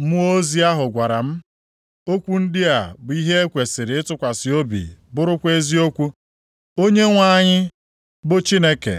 Mmụọ ozi ahụ gwara m, “Okwu ndị a bụ ihe e kwesiri ịtụkwasị obi, bụrụkwa eziokwu. Onyenwe anyị, bụ Chineke,